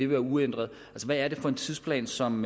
være uændret hvad er det for en tidsplan som